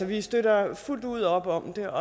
vi støtter fuldt ud op om det